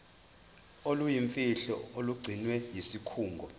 oluyimfihlo olugcinwe yisikhungo